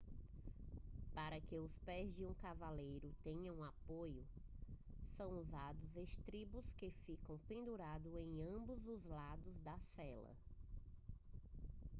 para que os pés de um cavaleiro tenham apoio são usados estribos que ficam pendurados em ambos os lados da sela